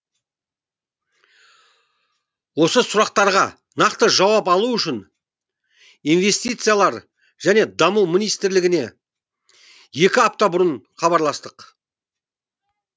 осы сұрақтарға нақты жауап алу үшін инвестициялар және даму министрлігіне екі апта бұрын хабарластық